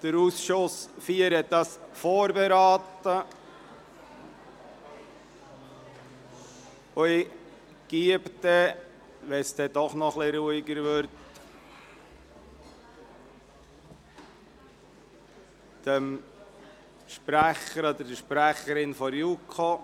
Der Ausschuss IV hat sie vorberaten, und wenn es noch etwas ruhiger ist, gebe ich der Sprecherin oder dem Sprecher der JuKo das Wort.